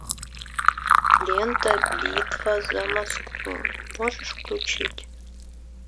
лента битва за москву можешь включить